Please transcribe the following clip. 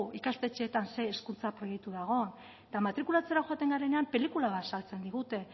ikastetxeetan ze hezkuntza proiektu dagoen eta matrikulatzera joaten garenean pelikula bat azaltzen digute